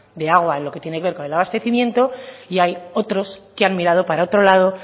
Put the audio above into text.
de agua en lo que tiene que ver con el abastecimiento y hay otros que han mirado para otro lado